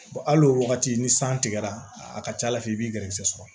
Al'o wagati ni san tigɛra a ka ca ala fɛ i b'i gɛrɛsɛgɛ sɔrɔ